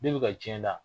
Ne bɛ ka tiɲɛ na